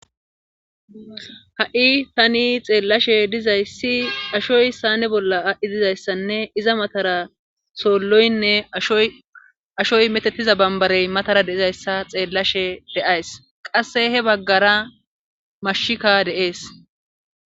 ha7i tani xeellashe dizayssi ashoy saane bolla dizayssanne iza matara soolloynne ashoy ashoy meetettida bambbare matara de7izayssa xeellashe de7ays;qasse he baggara mashshika de7es.